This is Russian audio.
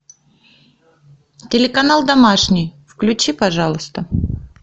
телеканал домашний включи пожалуйста